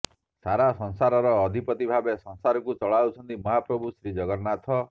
ସାରା ସଂସାରର ଅଧିପତି ଭାବେ ସଂସାରକୁ ଚଳାଉଛନ୍ତି ମହାପ୍ରଭୁ ଶ୍ରୀଜଗନ୍ନାଥ